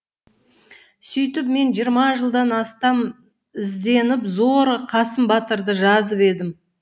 сүйтіп мен жиырма жылдан астам ізденіп зорға қасым батырды жазып едім